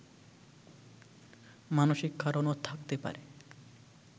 মানসিক কারণও থাকতে পারে